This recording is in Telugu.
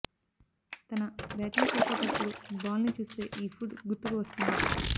తన బ్యాటింగ్ చేసేటప్పుడు బాల్ ని చూస్తే ఈ ఫుడ్ గుర్తుకు వస్తుందట